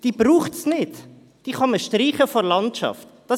Es braucht sie nicht, man kann sie aus der Landschaft streichen.